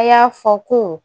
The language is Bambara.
A y'a fɔ ko